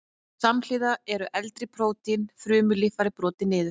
Samhliða eru eldri prótín og frumulíffæri brotin niður.